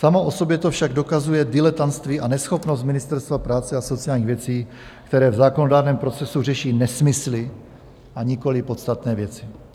Samo o sobě to však dokazuje diletantství a neschopnost Ministerstva práce a sociálních věcí, které v zákonodárném procesu řeší nesmysly a nikoliv podstatné věci.